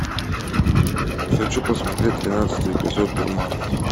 хочу посмотреть тринадцатый эпизод дурман